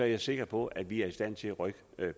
jeg sikker på at vi er i stand til at rykke